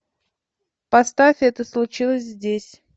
поставь это случилось здесь